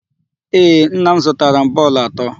Ee, nna m zụtara m bọọlụ atọ.